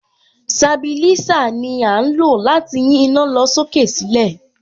Sabilísà ni à ń lò láti yín iná lọ sókè sílẹ̀.